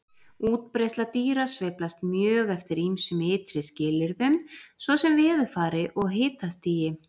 Útbreiðsla dýra sveiflast mjög eftir ýmsum ytri skilyrðum svo sem veðurfari og hitastigi.